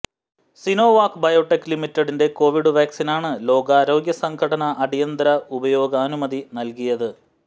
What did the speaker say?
Sinovac biotech ലിമിറ്റഡിന്റെ Covid വാക്സീനാണ് ലോകാരോഗ്യ സംഘടന അടിയന്തര ഉപയോഗാനുമതി നൽകിയത്